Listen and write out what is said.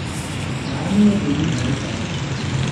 Aanyo payie intarika